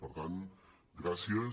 per tant gràcies